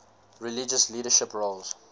religious leadership roles